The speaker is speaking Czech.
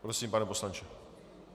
Prosím, pane poslanče.